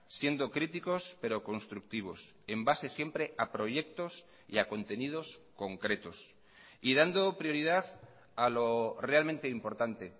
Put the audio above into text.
siendo críticos pero constructivos en base siempre a proyectos y a contenidos concretos y dando prioridad a lo realmente importante